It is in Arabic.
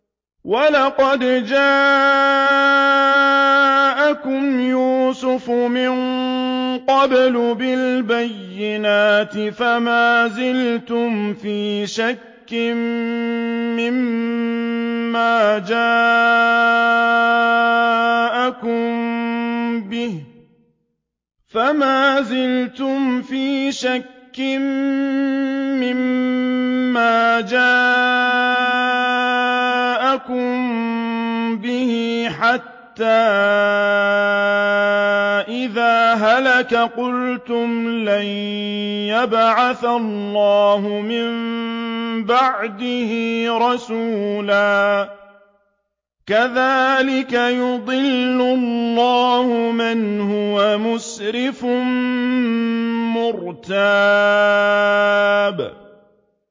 وَلَقَدْ جَاءَكُمْ يُوسُفُ مِن قَبْلُ بِالْبَيِّنَاتِ فَمَا زِلْتُمْ فِي شَكٍّ مِّمَّا جَاءَكُم بِهِ ۖ حَتَّىٰ إِذَا هَلَكَ قُلْتُمْ لَن يَبْعَثَ اللَّهُ مِن بَعْدِهِ رَسُولًا ۚ كَذَٰلِكَ يُضِلُّ اللَّهُ مَنْ هُوَ مُسْرِفٌ مُّرْتَابٌ